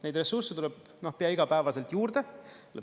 Neid ressursse tuleb pea igapäevaselt juurde.